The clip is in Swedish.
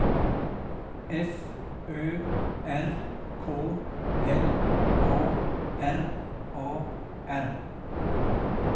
F Ö R K L A R A R